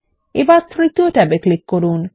এখনতৃতীয় ট্যাবে ক্লিক করুন